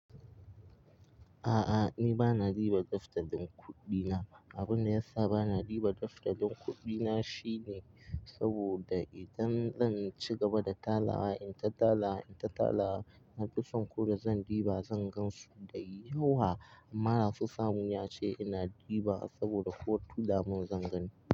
A'a ni bana diba daftarin kuɗi na. Abun da yasa bana diba daftarin kuɗi na shine. Saboda idan zan ci gaba da talawa, in ta talawa, in ta talawa, na fi son ko da zan ɗiba zan gan su da yawa amma da so samu ne a ce ina ɗiba saboda ko tula mun zan gani.